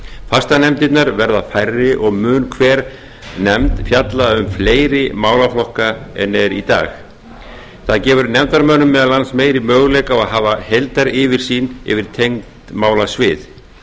fastanefndirnar verða færri og mun hver nefnd fjalla um fleiri málaflokka en er í dag það gefur nefndarmönnum meðal annars meiri möguleika á að hafa heildaryfirsýn yfir tengd málasvið